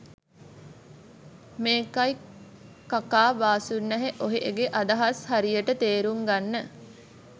මේකයි කකා බාසුන්නැහේ ඔහේගේ අදහස් හරියට තේරුං ගන්න